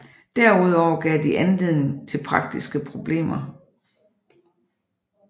Derudover gav de anledning til praktiske problemer